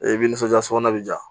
I bɛ nisɔndiya sokɔnɔ bɛ di yan